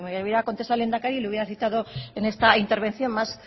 y si me hubiera contestado el lehendakari le hubiera citado en esta intervención más